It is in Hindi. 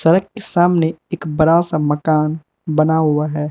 सड़क के सामने एक बड़ा सा मकान बना हुआ है।